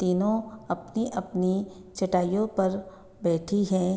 तीनो अपनी-अपनी चटाइयों पर बैठी है।